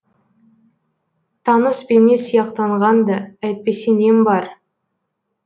таныс бейне сияқтанған ды әйтпесе нем бар